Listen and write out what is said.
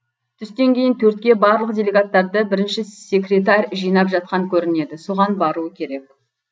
түстен кейін төртке барлық делегаттарды бірінші секретарь жинап жатқан көрінеді соған баруы керек